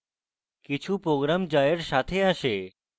কিছু programs যা এর সাথে আসে